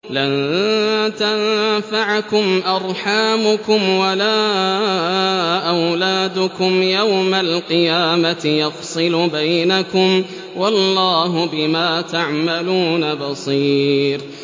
لَن تَنفَعَكُمْ أَرْحَامُكُمْ وَلَا أَوْلَادُكُمْ ۚ يَوْمَ الْقِيَامَةِ يَفْصِلُ بَيْنَكُمْ ۚ وَاللَّهُ بِمَا تَعْمَلُونَ بَصِيرٌ